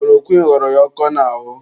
Kulorokwịn ghọrọ ya ọkọ n'ahụ.